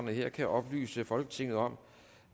jeg kan oplyse folketinget om